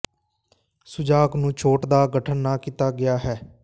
ਸੁਜਾਕ ਨੂੰ ਛੋਟ ਦਾ ਗਠਨ ਨਾ ਕੀਤਾ ਗਿਆ ਹੈ